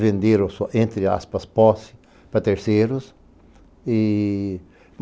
Venderam, entre aspas, posse para terceiros.